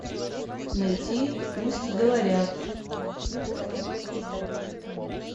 найти пусть говорят